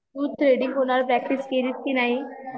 तू threading कुणावर practice केलीस की नाही